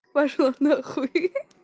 пошла на хуй ха-ха